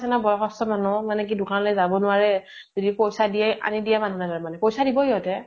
বয়স্ত মানুহ মানে কি দোকানলৈ যাব নোৱাৰে । যদি পইছা দিয়ে আনি দিয়া মানুহ লাগে মানে । পইছা দিব ইহঁতে ।